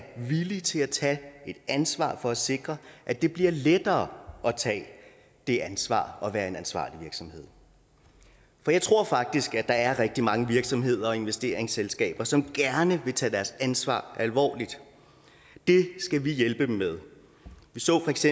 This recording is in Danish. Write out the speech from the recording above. villige til at tage et ansvar for at sikre at det bliver lettere at tage det ansvar at være en ansvarlig virksomhed for jeg tror faktisk der er rigtig mange virksomheder og investeringsselskaber som gerne vil tage deres ansvar alvorligt det skal vi hjælpe dem med vi så feks